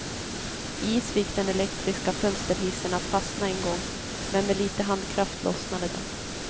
Is fick den elektriska fönsterhissen att fastna en gång, men med lite handkraft lossnade den.